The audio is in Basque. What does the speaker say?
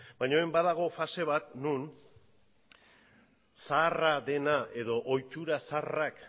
baina orain badago fase bat non zaharra dena edo ohitura zaharrak